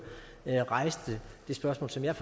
rejste det spørgsmål som jeg